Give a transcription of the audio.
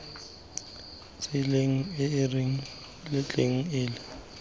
tseleng e e latelanang e